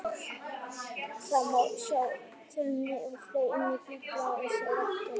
Það má sjá þróun og ferli innan Biblíunnar og einstakra rita hennar.